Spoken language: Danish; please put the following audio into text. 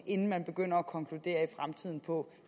inden man begynder at konkludere i fremtiden på